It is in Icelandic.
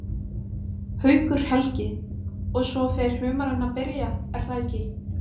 Haukur Helgi: Og svo fer humarinn að byrja er það ekki?